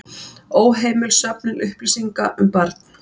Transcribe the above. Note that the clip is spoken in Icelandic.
Óheimil söfnun upplýsinga um barn